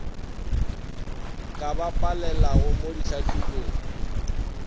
ka ba palelago mo ditlhahlobong